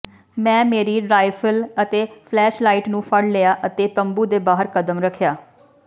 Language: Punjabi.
ਮੈਂ ਮੇਰੀ ਰਾਈਫਲ ਅਤੇ ਫਲੈਸ਼ਲਾਈਟ ਨੂੰ ਫੜ ਲਿਆ ਅਤੇ ਤੰਬੂ ਦੇ ਬਾਹਰ ਕਦਮ ਰੱਖਿਆ